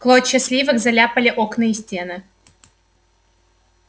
клочья сливок заляпали окна и стены